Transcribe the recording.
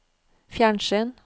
fjernsyn